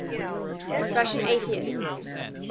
russian atheists